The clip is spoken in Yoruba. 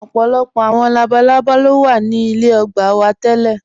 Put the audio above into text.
Ọpọlọpọ awọn labàlàbá lo wa ní ilẹ̀ ògbà wa tí tẹ̀lẹ.